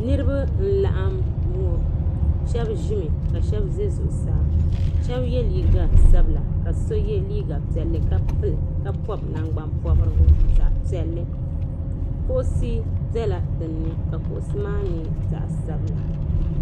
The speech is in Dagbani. Niriba n-laɣim ŋɔ. Shɛba ʒimi ka shɛba za zuɣusaa shɛba ye liiga sabila ka so ye liiga piɛlli ka pɔbi nangbampɔbirigu zaɣ' piɛlli. Kuɣisi bela dinni ka kuɣisi maa nyɛ zaɣ' sabila.